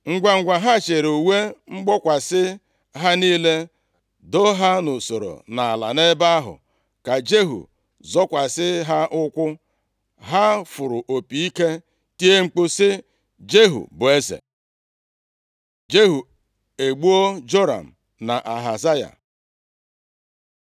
Ngwangwa ha chịịrị uwe mgbokwasị ha niile doo ha nʼusoro nʼala ebe ahụ ka Jehu zọkwasị ha ụkwụ. Ha fụrụ opi ike tie mkpu sị, “Jehu bụ eze!” Jehu egbuo Joram na Ahazaya